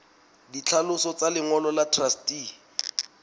ditlhaloso tsa lengolo la truste